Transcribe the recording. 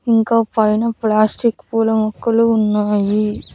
ఇంకా పైన ప్లాస్టిక్ పూల మొక్కలు ఉన్నాయి.